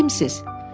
Bəs siz kimsiniz?